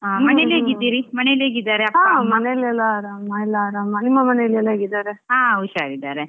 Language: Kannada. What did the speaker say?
ಹಾ ಮನೇಲೆಲ್ಲಾ ಅರಾಮ್ ಆರಾಮ್ ನಿಮ್ಮ ಮನೆಯಲ್ಲಿ ಎಲ್ಲ ಹೇಗಿದ್ದಾರೆ?